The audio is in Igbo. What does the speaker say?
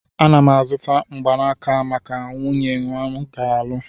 Ana m azụta mgbanaka a maka nwunye m nga alụ